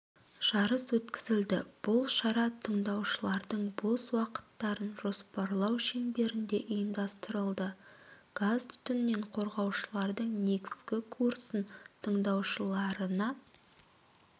жарыс өткізілді бұл шара тыңдаушылардың бос уақыттарын жоспарлау шеңберінде ұйымдастырылды газ-түтіннен қорғаушылардың негізгі курсын тыңдаушыларына